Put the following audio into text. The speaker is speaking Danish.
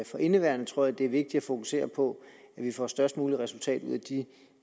for indeværende tror jeg det er vigtigt at fokusere på at vi får størst muligt resultat ud